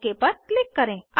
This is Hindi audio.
ओक पर क्लिक करें